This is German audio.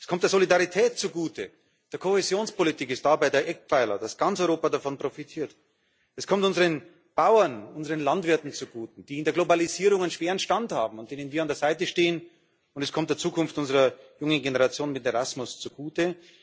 Es kommt der Solidarität zugute die Kohäsionspolitik ist dabei der Eckpfeiler, dass ganz Europa davon profitiert. Es kommt unseren Bauern, unseren Landwirten zugute, die in der Globalisierung einen schweren Stand haben, und denen, die an der Seite stehen, und es kommt der Zukunft unserer jungen Generation mit Erasmus zugute.